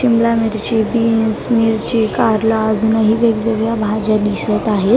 शिमला मिरची बीन्स मिरची कारलं अजूनही वेगवेगळ्या भाज्या दिसत आहेत.